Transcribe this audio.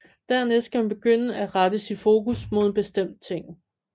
Dernæst skal man begynde at rette sit fokus mod én bestemt ting